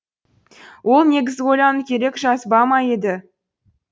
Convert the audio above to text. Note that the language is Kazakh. ол негізі ойлану керек жазба ма еді